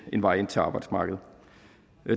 en vej ind til arbejdsmarkedet